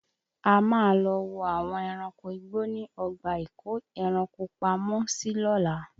A máa lọ wo àwọn ẹranko igbó ní ọgbà ìkó ẹranko pamọ́ sí lóla